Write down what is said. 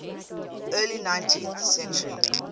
early nineteenth century